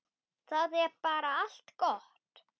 Það er bara allt gott.